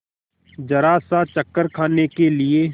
जरासा चक्कर खाने के लिए